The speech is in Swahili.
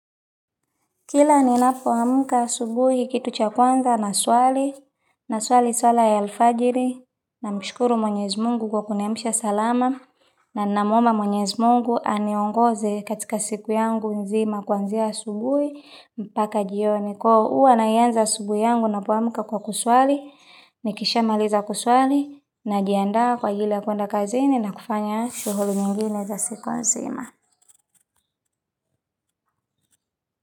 Kila ninapoamka asubuhi kitu cha kwanza na swali, na swali suala ya alfajiri, namshukuru mwenyezi mungu kwa kuniamsha salama, na ninamwomba mwenyezi mungu aniongoze katika siku yangu nzima kuanzia asubuhi, mpaka jioni huwa naianza asubuhi yangu napoamka kwa kuswali, nikishamaliza kuswali, najiandaa kwa aj ili ya kwenda kazini na kufanya shughuli nyingine za siku nzima.